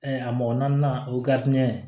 a mɔgɔ naani o